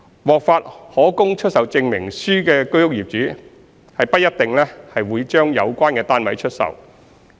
獲發可供出售證明書的居屋業主不一定會把有關單位出售。